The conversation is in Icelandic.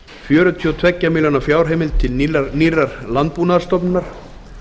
fjörutíu og tvær milljónir króna fjárheimild til nýrrar landbúnaðarstofnunar